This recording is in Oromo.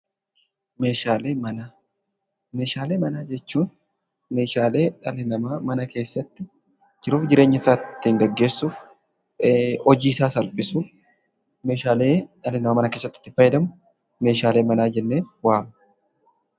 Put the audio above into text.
Meeshaalee manaa. Meeshaalee manaa jechuun meeshaalee dhalli namaa mana keessatti jiruuf jireenyasaa ittiin geggeessuuf hojiisaa salphisuuf meeshaalee dhalli namaa mana keessatti ittiin fayyadamu meeshaalee manaa jennee waamna.